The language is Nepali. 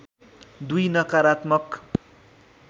२ नकारात्मक